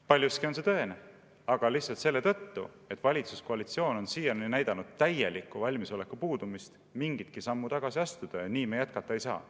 Paljuski on see tõene, aga lihtsalt selle tõttu, et valitsuskoalitsioon on siiani näidanud täielikku valmisoleku puudumist mingitki sammu tagasi astuda, ja nii me jätkata ei saa.